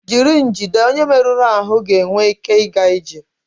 jiri njide onye merụrụ ahụ ga-enwe ike ịga ije